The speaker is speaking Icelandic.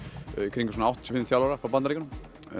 kringum áttatíu og fimm þjálfara frá Bandaríkjunum